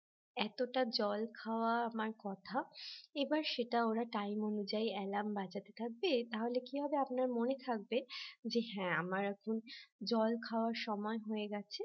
এতটা জল খাওয়া আমার কথা এবার সেটা ওরা time অনুযায়ী alarm বাজাতে থাকবে তাহলে কি হবে আপনার মনে থাকবে যে হ্যাঁ আমার এখন জল খাওয়ার সময় হয়ে গেছে